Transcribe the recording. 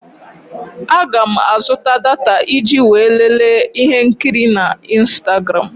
Aga m azụta data iji wee lelee ihe nkiri na ịnstagram.